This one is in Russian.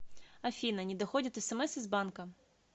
афина не доходят смс из банка